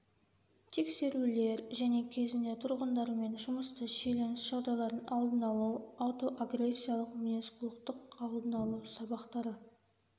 тексерулер және кезінде тұрғындармен жұмыста шиеленіс жағдайлардың алдын алу аутоагрессиялық мінез-құлықтың алдын алу сабақтары